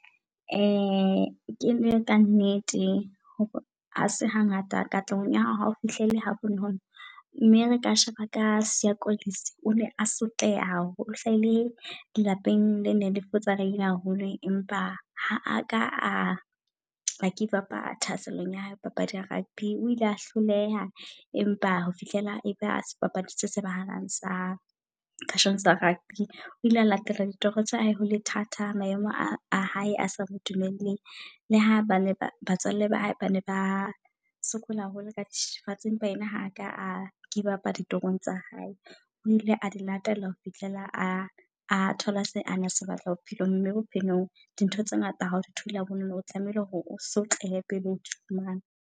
Kene ka nnete, ha se hangata katlehong ya hao ha ho fihlelle ha bonolo. Mme re ka sheba ka Siya Kolisi. O ne a sotleha haholo hlahile lapeng le neng le futsabeile haholo. Empa ha a ka a give up thasellong ya hae ho papadi ya rugby. O ile a hloleha empa ho fihlela eba sebapadi se tsebahalang sa . O ile a latela ditoro tsa hae hole thata maemo a hae a sa dumeleng. Le ha bana ba batswalle ba hae, bane ba sokola haholo ka dithethefatsi. Empa yena ha ka a give up a ditoro tsa hae, o ile a di latela ho fihlela a a thola se a base batla bophelong. Mme bophelong di ntho tse ngata ha o thole ha bonolo. O tlamehile hore o sotlehe pele odi fumana.